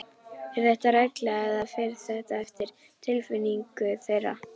Er þetta regla eða fer þetta eftir tilfinningu þeirra?